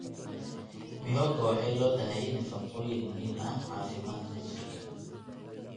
Mihogo waxay leedahay nafaqooyin muhiim ah caafimaadka jirka.